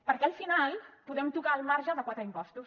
perquè al final podem tocar el marge de quatre impostos